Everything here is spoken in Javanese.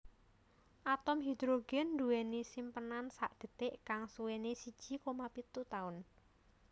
Atom hidrogen duweni simpenan sakdetik kang suwene siji koma pitu taun